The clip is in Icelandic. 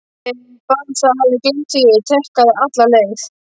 Ég barasta hafði gleymt því að ég tékkaði alla leið.